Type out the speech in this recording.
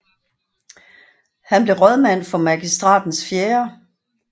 Han blev rådmand for Magistratens 4